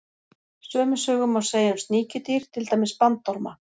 Sömu sögu má segja um sníkjudýr, til dæmis bandorma.